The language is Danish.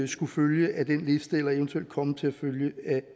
skulle følge af den liste eller eventuelt komme til at følge